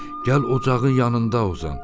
Gəl ocağın yanında uzan.